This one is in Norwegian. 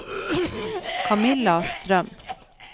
Kamilla Strøm